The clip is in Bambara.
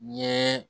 N ye